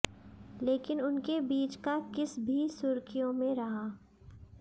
लेकिन उनके बीच का किस भी सुर्खियों में रहा